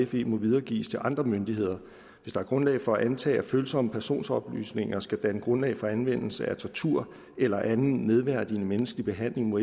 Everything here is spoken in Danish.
fe må videregives til andre myndigheder hvis der er grundlag for at antage at følsomme personoplysninger skal danne grundlag for anvendelse af tortur eller anden nedværdigende menneskelig behandling må